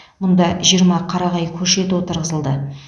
мұнда жиырма қарағай көшеті отырғызылды